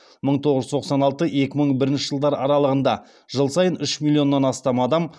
мың тоғыз жүз тоқсан алтыншы екі мың бірінші жылдар аралығында жыл сайын үш миллионнан астам адам